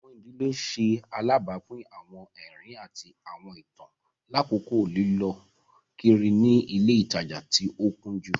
Awọn ìdílé ṣe alabapin awọn ẹrin ati awọn itan lakoko lilọ kiri ni ile itaja ti o kunju.